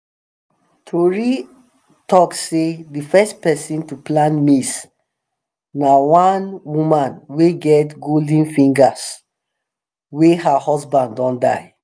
tori talk sey the first person to plant maize na wan woman wey get golden fingers wey her husband don die